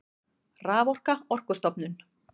Raforka Orkustofnun.